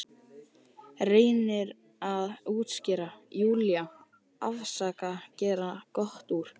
Reynir að útskýra, Júlía, afsaka, gera gott úr.